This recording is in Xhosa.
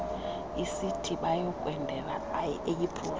isithi abayokwendela eyiputa